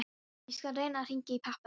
Ég skal reyna að hringja í pabba þinn.